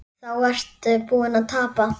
Þá ertu búinn að tapa.